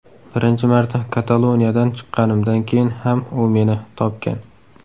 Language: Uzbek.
Birinchi marta koloniyadan chiqqanimdan keyin ham u meni topgan.